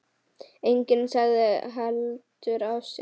Enginn sagði heldur af sér.